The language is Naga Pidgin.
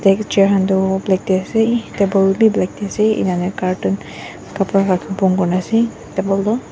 deek chair han Tu black tey ase table bi black tey ase ena huina carton khapra wa bon kurina ase table toh.